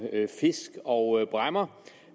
fisk og bræmmer